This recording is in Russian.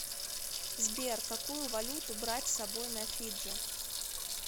сбер какую валюту брать с собой на фиджи